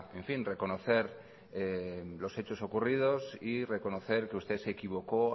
reconocer los hechos ocurridos y reconocer que usted se equivocó